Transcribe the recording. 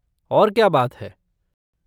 और क्या बात है?